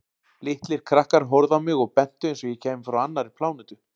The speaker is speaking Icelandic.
Litlir krakkar horfðu á mig og bentu einsog ég kæmi frá annarri plánetu.